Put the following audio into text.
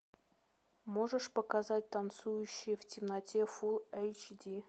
можешь показать танцующие в темноте фулл эйч ди